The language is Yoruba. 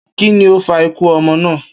Kí ni ó fa ikú o̩mo̩ náà?